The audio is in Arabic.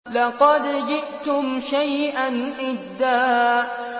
لَّقَدْ جِئْتُمْ شَيْئًا إِدًّا